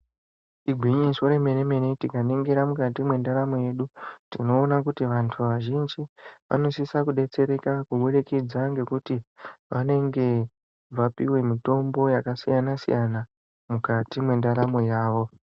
Igwinyiso remene mene tikaningira mukati mezvibhedhlera tinoona kuti vantu vazhinji vanosisa kudetsereka ngekuti vanenge vapiwa mitombo yakasiyana siyana mukati mendaramo yawo.